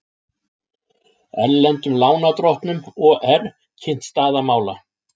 Erlendum lánardrottnum OR kynnt staða mála